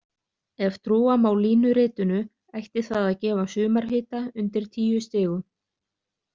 Ef trúa má línuritinu ætti það að gefa sumarhita undir tíu stigum.